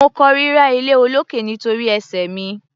Mo kórira iléolókè nítorí ẹsẹ̀ mi.